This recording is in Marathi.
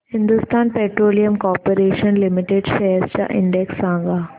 Hindustan petroleum corporation limited shares चा इंडेक्स सांगा